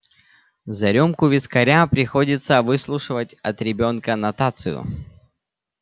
за рюмку вискаря приходится выслушивать от ребёнка нотацию